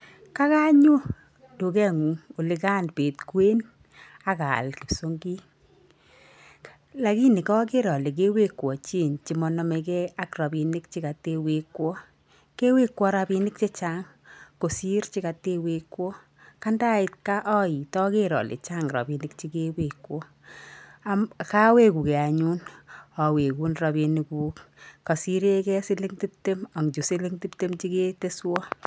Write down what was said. Kakanyo duke'ngung olikaan bet kwen ak aal kipsongik, lakini kaker ale kewekwo change che monomegei ak rabiinik che katewekwo, kewekwo rabiinik chechang kosir chekatewekwo, kandait gaa oit aker ale chaang rabiinik chekewekwo, kawekugei anyun awekun rabiinikuk kasirekei siling tiptem ang chu siling tiptem che keteswo.